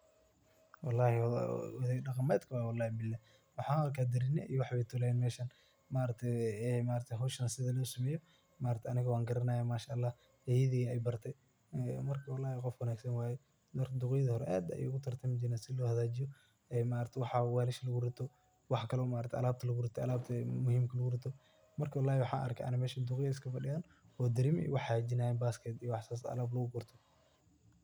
Wallahi waa oday dhaqameed meshan, waxan arka darinyo iyo wax ayey tolayan meshan, howshan sidhaa losumeyo maaragtaye aniga wan garanaya Masha ALLAH ayeydey yaa ibarte marka duqeydi hore aad bey ugu tartami jiren sidha loo jagajiyo marka maaragtaye waxa walisha lagu rito ,alabta kale oo muhimka lagu rito marka wallahi ani waxan arka mesha duqey iska fadiyan oo darinya iyo wax hagajinayan iyo basket wax sas oo alab lagu gurto.